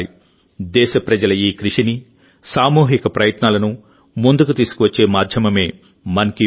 దేశప్రజల ఈ కృషిని సామూహిక ప్రయత్నాలను ముందుకు తీసుకువచ్చే మాధ్యమమే మన్ కీ బాత్